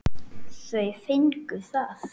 Þau fengu það.